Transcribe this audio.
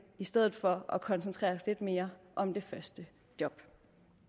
i stedet for at koncentrere os lidt mere om det første job